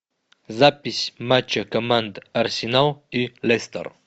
запись матча команд арсенал и лестер